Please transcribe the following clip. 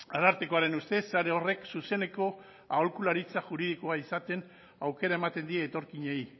arartekoaren ustez sare horrek zuzeneko aholkularitza juridikoa izaten aukera ematen die etorkinei